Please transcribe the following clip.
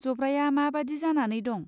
जब्राया मा बादि जानानै दं.